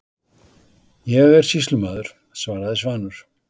Ég er sýslumaður, svaraði Svanur.